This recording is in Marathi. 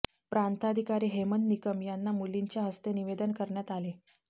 प्रांताधिकारी हेमंत निकम यांना मुलींच्या हस्ते निवेदन देण्यात आले